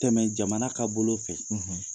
Tɛmɛ jamana ka bolo fɛ.